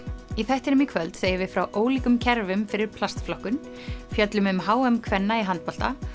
í þættinum í kvöld segjum við frá ólíkum kerfum fyrir plastflokkun fjöllum um h m kvenna í handbolta